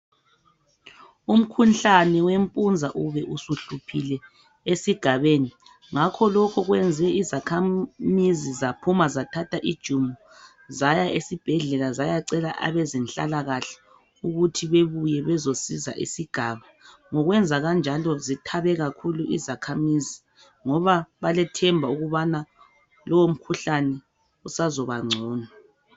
Umkhuhlane wempunza ube usuhluphile esigabeni, ngakho lokho kwenze izakhamizi zaphuma zathatha ijumo zaya esibhedlela zayacela abezenhlalakahle ukuthi bebuye bezosiza isigaba. Ngokwenza kanjalo zithabe kakhulu izakhamizi ngoba balethemba ukubana lowo mkhuhlane usazobangcono.